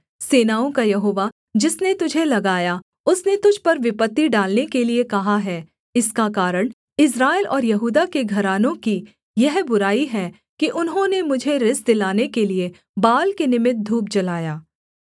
सेनाओं का यहोवा जिसने तुझे लगाया उसने तुझ पर विपत्ति डालने के लिये कहा है इसका कारण इस्राएल और यहूदा के घरानों की यह बुराई है कि उन्होंने मुझे रिस दिलाने के लिये बाल के निमित्त धूप जलाया